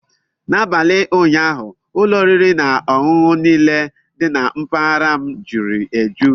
N'abalị ụnyaahụ, ụlọ oriri na ọṅụṅụ niile dị na mpaghara m jury eju.